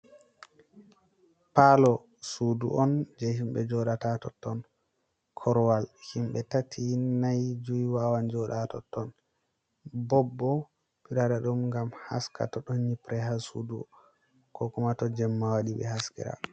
Paalo, suudu on jey himɓe jooɗata haa totton, Korowal himɓe tati-nay-juy wawan jooɗa haa totton, Bob boo ɓe waɗa ɗum ngam haska to ɗon nyiɓre haa suudu ko maa to jemma waɗi ɓe haskira.